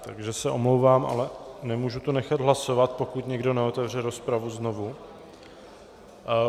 Takže se omlouvám, ale nemůžu to nechat hlasovat, pokud někdo neotevře rozpravu znovu.